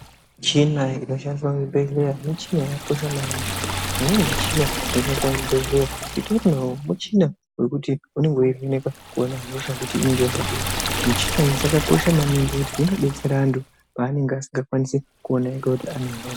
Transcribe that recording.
Michina inoshandiswa muzvibhedleya michina yakakosha maningi mimweni michina inoshandiswa muzvibhedleya, michina wekuti unenge weyivheneka kuona hosha kuti inenge yakadii, michina idzi dzakakosha maningi nekuti dzinodetsera andu anenge asingakwanisi kuona ega kuti ane hosha.